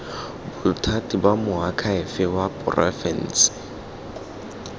bothati ba moakhaefe wa porofense